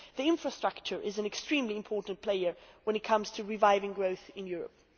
Infrastructure is an extremely important player when it comes to reviving growth in Europe.